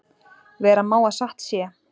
Vera má að satt sé.